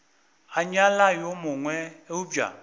a nyala yo mongwe eupša